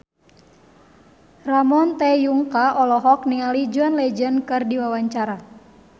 Ramon T. Yungka olohok ningali John Legend keur diwawancara